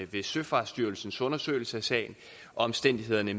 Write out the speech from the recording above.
ved søfartsstyrelsens undersøgelse af sagen og omstændighederne